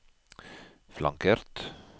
flankert